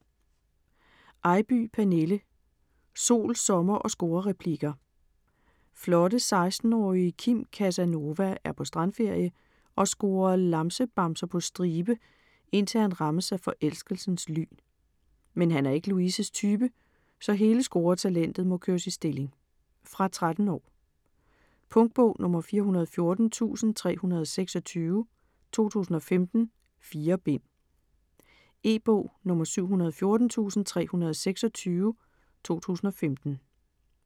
Eybye, Pernille: Sol, sommer & scorereplikker Flotte 16-årige Kim "Casanova" er på strandferie og scorer lamsebamser på stribe, indtil han rammes af forelskelsens lyn. Men han er ikke Louises type, så hele scoretalentet må køres i stilling. Fra 13 år. Punktbog 414326 2015. 4 bind. E-bog 714326 2015.